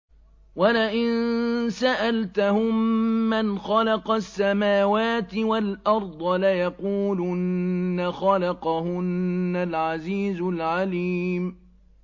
وَلَئِن سَأَلْتَهُم مَّنْ خَلَقَ السَّمَاوَاتِ وَالْأَرْضَ لَيَقُولُنَّ خَلَقَهُنَّ الْعَزِيزُ الْعَلِيمُ